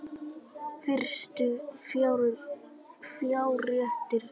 Fyrstu fjárréttir